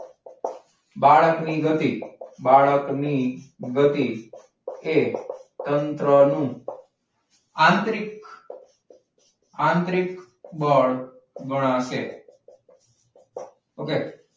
બાળકની ગતિ બાળકની ગતિ એ તંત્રનો આંતરિક આંતરિક બળ ગણાશે. okay?